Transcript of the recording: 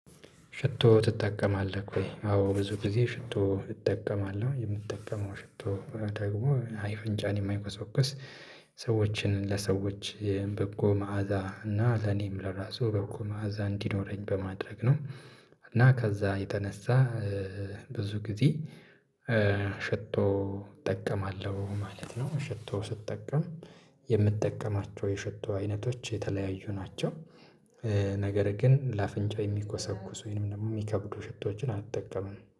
ሽቶ ትጠቀማለህ ወይ? አዎ ብዙ ጊዜ ሽቶ እጠቀማለሁ የምጠቀመው ሽቶ ደግሞ አፈንጫን የማይቆሰቁስ ሰዎችን ለሰዎች በጎ መዓዛ እና ለኔም ለራሱ በጎ መእዛ እንዲኖረኝ በማድረግ ነው። እና ከዛ የተነሳ ብዙ ጊዜ ሽቶ እጠቀማለሁ ማለት ነው። ሽቶ ስጠቀም የምጠቀማቸው የሽቶ አይነቶች የተለያዩ ናቸው። ነገር ግን ለአፍንጫ የሚኮሰኩስ ወይም ደግሞ የሚከብዱ ሽቶችን አልጠቀምም